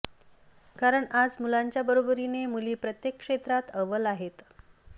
कारण आज मुलांच्या बरोबरीने मुली प्रत्येक क्षेत्रात अव्वल आहेत